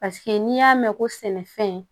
Paseke n'i y'a mɛn ko sɛnɛfɛn